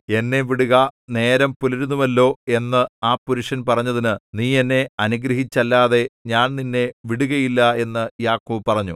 എന്നെ വിടുക നേരം പുലരുന്നുവല്ലോ എന്ന് ആ പുരുഷൻ പറഞ്ഞതിന് നീ എന്നെ അനുഗ്രഹിച്ചല്ലാതെ ഞാൻ നിന്നെ വിടുകയില്ല എന്ന് യാക്കോബ് പറഞ്ഞു